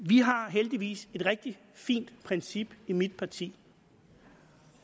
vi har heldigvis et rigtig fint princip i mit parti